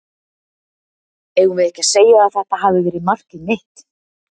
Eigum við ekki að segja að þetta hafi verið markið mitt?